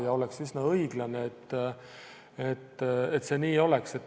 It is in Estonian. Ja oleks üsna õiglane, et see nii oleks.